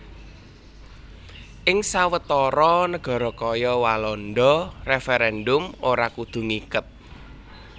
Ing sawetara nagara kaya Walanda referendum ora kudu ngiket